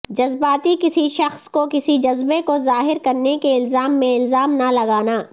جذباتی کسی شخص کو کسی جذبے کو ظاہر کرنے کے الزام میں الزام نہ لگانا